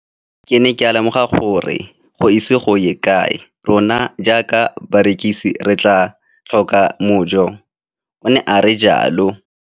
Ke ne ka lemoga gore go ise go ye kae rona jaaka barekise re tla tlhoka mojo, o ne a re jalo.